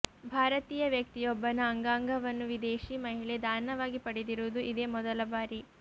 ಭಾರತೀಯ ವ್ಯಕ್ತಿಯೊಬ್ಬನ ಅಂಗಾಂಗವನ್ನು ವಿದೇಶಿ ಮಹಿಳೆ ದಾನವಾಗಿ ಪಡೆದಿರುವುದು ಇದೇ ಮೊದಲ ಬಾರಿ